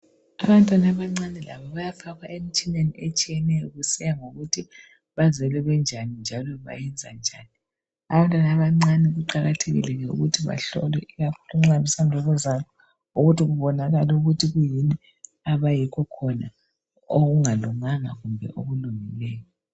Abantwana abancane labo bayafakwa emtshineni etshiyeneyo kusiya ngokuthi bazelwe benjani njalo benza njani. Abantwana abancane kuqakathekile ukuthi bahlolwe ikakhulu nxa besanda ukuzalwa ukuthi kubonakale ukuthi kuyini abayikhokhona okungalunganga kumbe okulungileyo.